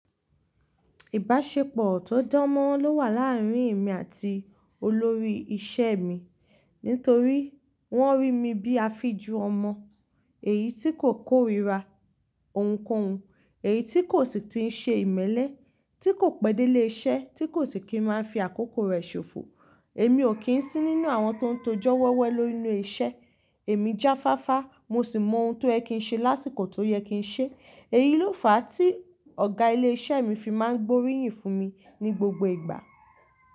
Ìbáṣepọ̀ tó dán mọ́ ló wà láàárín èmi àti olórí ìṣe mi. Nítorí wọ́n rí mi bíi afíjù ọmọ, èyí tí kò kórira ohunkóhun, èyí tí kò sì tí ń ṣe ìmẹ́lẹ́, tí kò pẹ́ dé lé iṣẹ́, tí kò sì kí ń máa fi àkókò rẹ̀ ṣòfò. Èmi ò kí ń sí nínú àwọn tó ń tojọ́ wewe lórí ile iṣẹ́. Èmi jáfáfá, mo sì mọ ohun tó yẹ kí ń ṣe lásìkò tó yẹ kí ń ṣe. Èyí ló fà á tí ọ̀gá ilé iṣẹ́ mi fi máa ń gbóríyìn fún mi ní gbogbo ìgbà.